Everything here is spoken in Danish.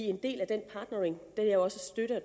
en del af den partnering er også støtte